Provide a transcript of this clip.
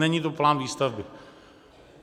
Není to plán výstavby.